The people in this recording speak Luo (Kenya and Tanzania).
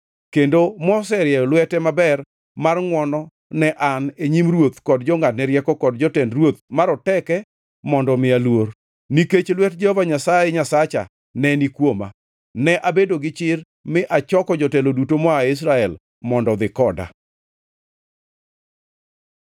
kendo moserieyo lwete maber mar ngʼwono ne an e nyim ruoth kod jongʼadne rieko kod jotend ruoth maroteke mondo omiya luor. Nikech lwet Jehova Nyasaye Nyasacha neni kuoma, ne abedo gi chir mi achoko jotelo duto moa Israel mondo odhi koda.